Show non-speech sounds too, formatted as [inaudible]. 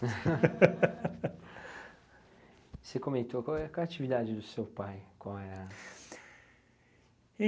[laughs] Você comentou qual é qual é a atividade do seu pai? Qual é a...